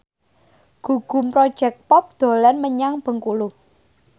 Gugum Project Pop dolan menyang Bengkulu